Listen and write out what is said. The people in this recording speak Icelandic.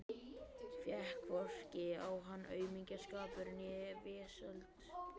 Fékk hvorki á hana aumingjaskapur né vesöld.